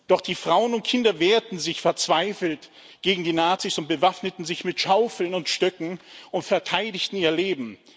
Doch die Frauen und Kinder wehrten sich verzweifelt gegen die Nazis und bewaffneten sich mit Schaufeln und Stöcken und verteidigten ihr Leben.